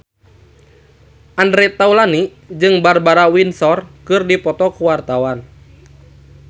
Andre Taulany jeung Barbara Windsor keur dipoto ku wartawan